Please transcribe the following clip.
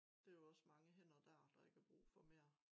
Det jo også mange hænder dér der ikke er brug for mere